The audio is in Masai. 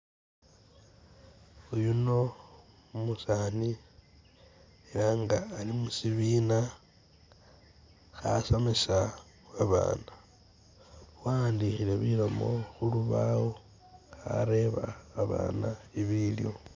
Uyuno umusani ela nga ali musibiina khasomesa babaana wa'andikhile bilomo khulubawo akhareba abaana ibiliwo.